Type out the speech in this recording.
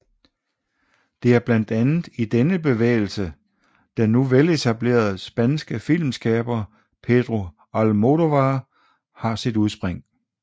Det er blandt andet i denne bevægelse den nu veletablerede spanske filmskaber Pedro Almodóvar har sit udspring